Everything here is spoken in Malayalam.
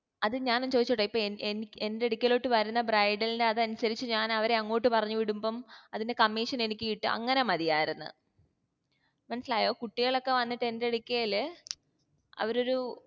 അത് ഞാൻ ഒന്ന് ചോയ്‌ച്ചോട്ടെ ഇപ്പോ എൻ എൻ എന്റടുക്കലോട്ട് വരുന്ന bridal നെ അതനുസരിച് ഞാൻ അവരെ അങ്ങോട്ട് പറഞ്ഞു വിടുമ്പോ അതിന്റെ commission എനിക്ക് കിട്ട അങ്ങനെ മതിയാർന്ന്